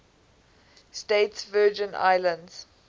states virgin islands